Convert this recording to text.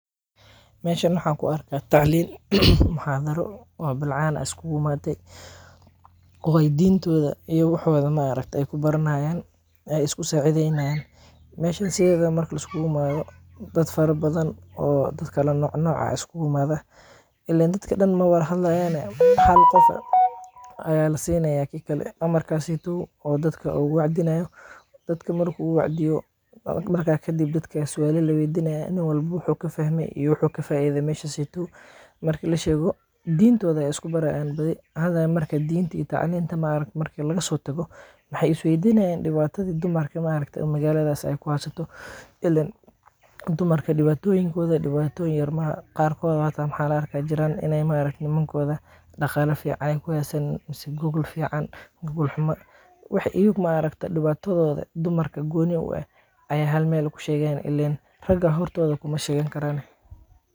Meeshan waxaan ku arkaa tacliin, muxaadaro, bilcaan ayaa isku imaade, diintooda iyo wax u eg ayeey kubaran haayan, aay isku saacideen haayan, meesha marka liskugu imaado, dad fara badan oo kala noc noc ah ayaa iskuugu imaada, ileen dadka dan mawada hadlaayane ,hal qof ayaa lasiinaaya amarkaas oo dadka ugu wacdinaayo, dadka markuu uwacdiyo ,markaa kadib dadki ayaa suala laweydinaaya, nin walbo wuxuu kafahme iyo wuxuu ka faaide meeshaas, marki lasheego diintooda ayeey isku baraayan badi, diinta marka lagasoo tago waxeey is weydinaayan dibaatada dumarka maaragte oo magalada kuhaysato, ileen dumarka dibaatoyinkooda dibaatoyin yar maaha, qaarkooda waxaa la arkaa ineey jiraan nimankooda daqaala fican ku haysanin, mise gogol fican gogol xuma, wax iyaga maaragte dibaatadooda dumarka gooni u eh ayeey hal meel ku sheegaayaan ileen raga hortooda kuma sheegan karaane.